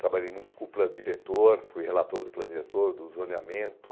Trabalhei muito com o plano diretor, fui relator do plano diretor, do zoneamento.